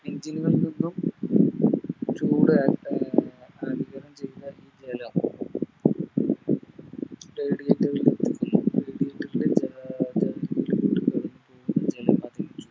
Engine കളിൽ നിന്നും